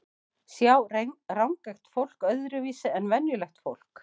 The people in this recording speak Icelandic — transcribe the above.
Sjá rangeygt fólk öðruvísi en venjulegt fólk?